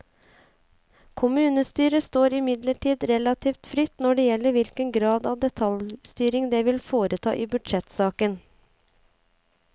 Kommunestyret står imidlertid relativt fritt når det gjelder hvilken grad av detaljstyring det vil foreta i budsjettsaken.